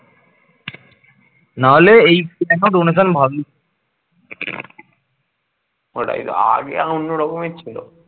ওটাই আগে অন্য রকমের ছিল